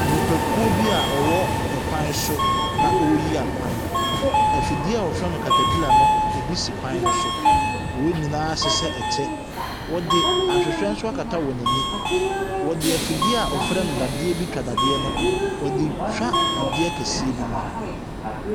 Nnipakuo bi a wɔwɔ kwan so na wɔreyi akwan. Afidie a wɔfrɛ no caterpilla no bi si kwan no so. Wɔn nyinaa ayehyɛ ɛkyɛ. Wɔde ahwehwɛ nso akata wɔn ani. Wɔde afidie a wɔfrɛ no dadeɛ bi twa dadeɛ no, wɔde retwa dadeɛ kɛseɛ bi mu.